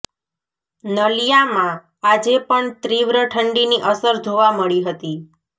નલિયામાં આજે પણ તીવ્ર ઠંડીની અસર જોવા મળી હતી